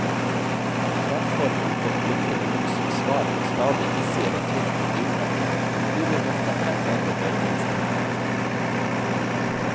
Fremfor muntert blinkende lys som svar på stadig hissigere trykk på bilnøkkelen, blir vi møtt av fem meter dørgende stillhet.